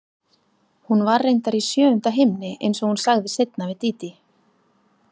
Hún var reyndar í sjöunda himni einsog hún sagði seinna við Dídí.